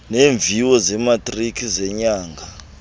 neemviwo zematriki zenyanga